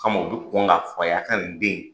O kama u bi kɔn ka f'aw ye, a ka ni den in